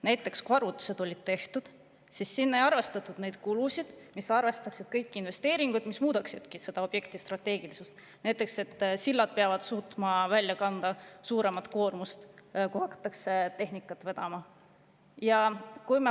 Näiteks, arvutused olid tehtud nii, et sinna hulka arvestatud kulud ei arvestanud kõiki investeeringuid, mis muudaksidki selle objekti strateegiliseks, kas või seda, et sillad peavad suutma välja kandma suuremat koormust, kui hakatakse tehnikat vedama.